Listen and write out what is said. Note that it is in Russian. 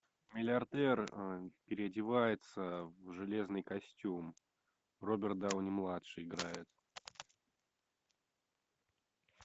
миллиардер переодевается в железный костюм роберт дауни младший играет